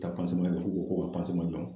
Ka kɛ dɔrɔn k'u ko ka jɔ